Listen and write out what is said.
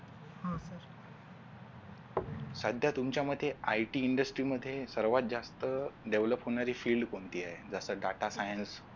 सध्या तुमच्या मते IT INDUSTRY मध्ये सर्वात जास्त develop होणारी field कोणती आहे जस Data Science